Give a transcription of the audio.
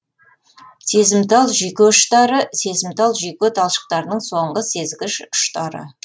сезімтал жүйке ұштары сезімтал жүйке талшықтарының соңғы сезгіш ұштары